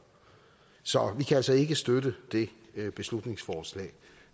så vi kan altså ikke støtte det beslutningsforslag